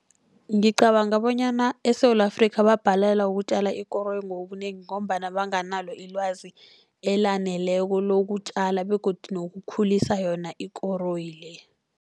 Ngicabanga bonyana eSewula Afrika, bayabhalelwa ukutjala ikoroyi ngobunengi, ngombana banganalo ilwazi elaneleko lokutjala begodu nokukhulisa yona ikoroyi le.